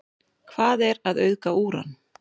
Hvað er að auðga úran?